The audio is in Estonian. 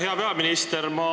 Hea peaminister!